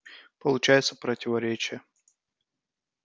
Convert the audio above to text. получается противоречие